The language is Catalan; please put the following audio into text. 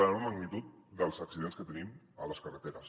d’una magnitud dels accidents que tenim a les carreteres